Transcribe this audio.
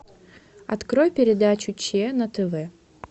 открой передачу че на тв